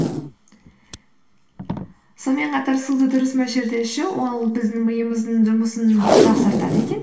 сонымен қатар суды дұрыс мөлшерде ішу ол біздің миымыздың жұмысын жақсартады екен